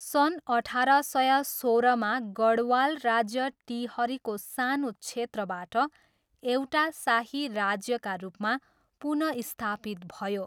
सन् अठार सय सोह्रमा गढवाल राज्य टिहरीको सानो क्षेत्रबाट एउटा शाही राज्यका रूपमा पुनःस्थापित भयो।